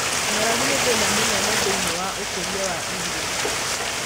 Ng’aragu nĩ thĩna mũnene thĩiniĩ wa ũkũria wa irio.